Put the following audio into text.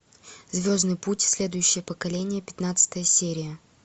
звездный путь следующее поколение пятнадцатая серия